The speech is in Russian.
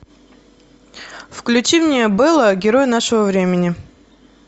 включи мне бэла герой нашего времени